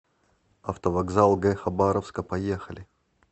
автовокзал г хабаровска поехали